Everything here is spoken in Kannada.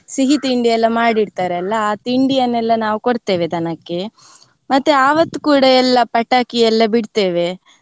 ಸಿಹಿ ತಿಂಡಿ ಎಲ್ಲ ಮಾಡಿಡ್ತಾರೆ ಅಲಾ ಆ ತಿಂಡಿಯನ್ನೆಲ್ಲ ನಾವು ಕೊಡ್ತೇವೆ ದನಕ್ಕೆ ಮತ್ತೆ ಆವತ್ ಕೂಡ ಎಲ್ಲ ಪಟಾಕಿ ಎಲ್ಲ ಬಿಡ್ತೇವೆ.